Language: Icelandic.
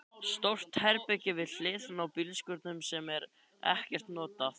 Stórt herbergi við hliðina á bílskúrnum sem er ekkert notað.